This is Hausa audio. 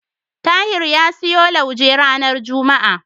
Tahir ya siyo lauje ranar juma'a.